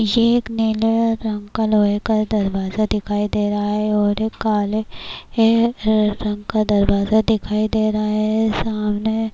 یہ ایک نیلے رنگ کا لوہے کا دروازہ دکھائی دے رہا ہے -اور کالے رنگ کا دروازہ دکھائی دے رہا ہے -سامنے